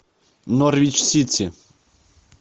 норвич сити